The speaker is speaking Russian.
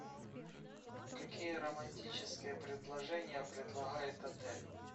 какие романтические предложения предлагает отель